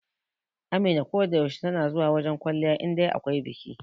Amina ko da yaushe tana zuwa wajen kwalliya indai akwai biki.